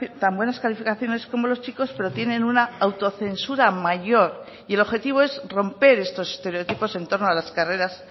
tan buenas calificaciones como los chicos pero tienen una autocensura mayor y el objetivo es romper estos estereotipos en torno a las carreras